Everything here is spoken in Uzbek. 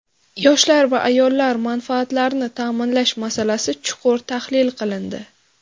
Yoshlar va ayollar manfaatlarini ta’minlash masalasi chuqur tahlil qilindi.